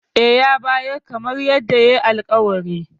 E, ya bayar kamar yadda yayi alƙawari.